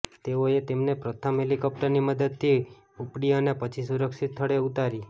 તેઓએ તેમને પ્રથમ હેલિકોપ્ટરની મદદથી ઉપડી અને પછી સુરક્ષિત સ્થળે ઉતારી